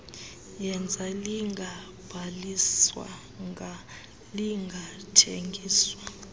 yeza lingabhaliswanga lingathengiswa